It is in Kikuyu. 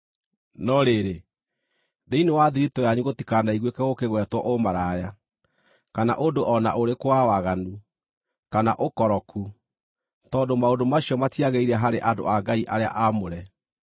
No rĩrĩ, thĩinĩ wa thiritũ yanyu gũtikanaiguĩke gũkĩgwetwo ũmaraya, kana ũndũ o na ũrĩkũ wa waganu, kana ũkoroku, tondũ maũndũ macio matiagĩrĩire harĩ andũ a Ngai arĩa aamũre.